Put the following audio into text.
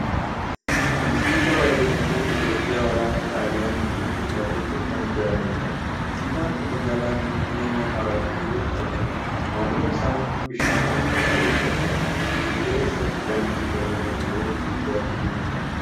Kuni siidaa wareegamtoota Itoophiyaa waraana Xaaliyaaniin dhuman yaadachuuf kan ijaarameedha. Siidaan kun magaalaa Finfinnee naannoo Araat Kilootti argama. Naannawa isaa bishaan ol faca'utu argama. Fuuldura isaatti daandii gama gamoolee gurguddootu jira.